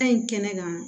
Ta in kɛnɛ kan